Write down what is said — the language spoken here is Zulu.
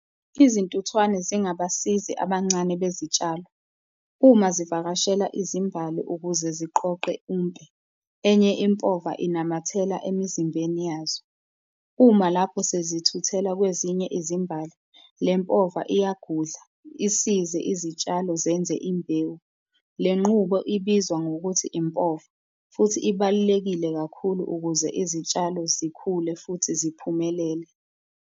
Izintuthwane zingabasizi abancane bezitshalo uma zivakashela izimbali ukuze ziqoqe impe. Enye impova inamathela emizimbeni yazo, uma lapho sezithuthela kwezinye izimbali le mpova iyagudla, isize izitshalo zenze imbewu. Le nqubo ibizwa ngokuthi impova futhi ibalulekile kakhulu ukuze izitshalo zikhule futhi ziphumelele.